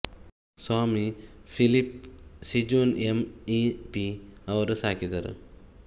ಸ್ವಾಮಿ Philip Sijon M E P ಅವರು ಸಾಕಿದರು